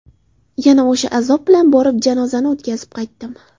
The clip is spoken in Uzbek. Yana o‘sha azob bilan borib, janozani o‘tkazib qaytdim.